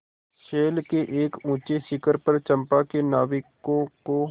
शैल के एक ऊँचे शिखर पर चंपा के नाविकों को